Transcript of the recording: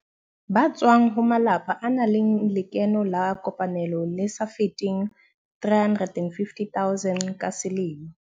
Ba tswang ho malapa a nang le lekeno la kopanelo le sa feteng R350 000 ka selemo.